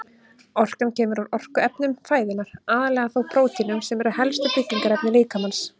Orkan kemur úr orkuefnum fæðunnar, aðallega þó prótínum sem eru helstu byggingarefni líkamans.